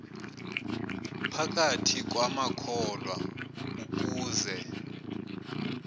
phakathi kwamakholwa ukuze